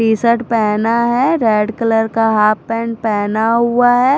T shirt पहना है red colour का हाफ पेंट पहना हुआ है।